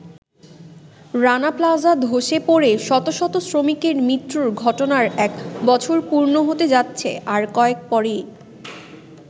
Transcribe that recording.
Rana plaza ধসে পড়ে শত শত শ্রমিকের মৃত্যুর ঘটনার এক বছর পূর্ণ হতে যাচ্ছে আর কয়েক পরেই।